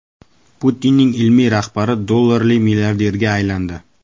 Putinning ilmiy rahbari dollarli milliarderga aylandi.